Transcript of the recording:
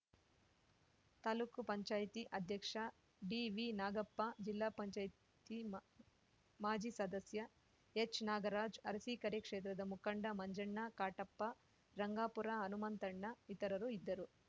ತಾಲೂಕು ಪಂಚಾಯತಿ ಅಧ್ಯಕ್ಷ ಡಿವಿನಾಗಪ್ಪ ಜಿಲ್ಲಾ ಪಂಚಾಯತಿ ಮಾ ಮಾಜಿ ಸದಸ್ಯ ಎಚ್‌ನಾಗರಾಜ್‌ ಅರಸಿಕೆರೆ ಕ್ಷೇತ್ರದ ಮುಖಂಡ ಮಂಜಣ್ಣ ಕಾಟಪ್ಪ ರಂಗಾಪುರ ಹನುಮಂತಣ್ಣ ಇತರರು ಇದ್ದರು